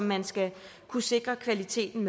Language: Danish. man skal kunne sikre kvaliteten